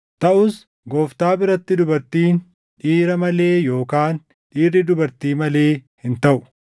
Taʼus Gooftaa biratti dubartiin dhiira malee yookaan dhiirri dubartii malee hin taʼu.